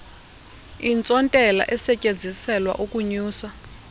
intsontela esetyenziselwa ukunyusa